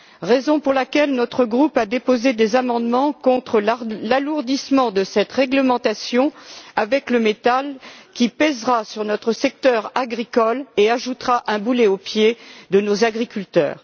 C'est la raison pour laquelle notre groupe a déposé des amendements contre l'alourdissement de cette réglementation avec le méthane, qui pèsera sur notre secteur agricole et ajoutera un boulet au pied de nos agriculteurs.